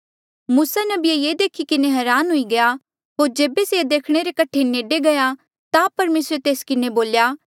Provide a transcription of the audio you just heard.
मूसा नबी ये देखी किन्हें हरान हुई गया होर जेबे से देखणे रे कठे नेडे गया ता परमेसरे तेस किन्हें बोल्या